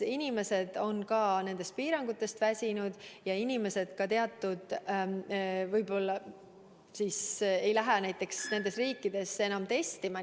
Inimesed on piirangutest väsinud ja võib-olla inimesed nendes riikides enam ei lähe testima.